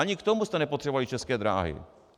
Ani k tomu jste nepotřebovali České dráhy.